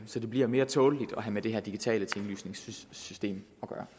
så det bliver mere tåleligt at have med det her digitale tinglysningssystem